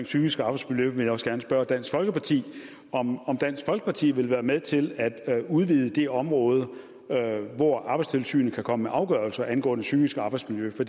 psykiske arbejdsmiljø vil jeg også gerne spørge dansk folkeparti om dansk folkeparti vil være med til at udvide det område hvor arbejdstilsynet kan komme med afgørelser angående det psykiske arbejdsmiljø for